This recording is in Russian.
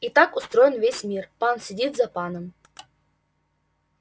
и так устроен весь мир пан сидит за паном